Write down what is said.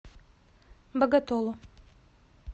боготолу